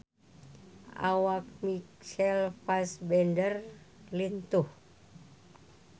Awak Michael Fassbender lintuh